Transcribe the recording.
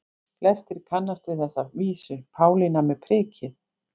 Flestir kannast við þessa vísu: Pálína með prikið